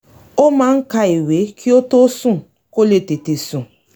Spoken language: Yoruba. ó máa ń ka ìwé kí ó tó sùn kó lè tètè sùn